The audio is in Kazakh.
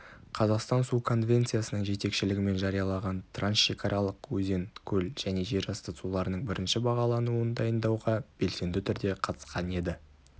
қазақстан су конвенциясының жетекшілігімен жариялаған трансшекаралық өзен көл және жерасты суларының бірінші бағалануын дайындауға белсенді түрде қатысқан еді